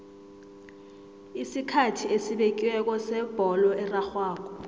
isikhathi esibekiweko sebholo erarhwako